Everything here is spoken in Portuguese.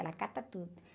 Ela cata tudo.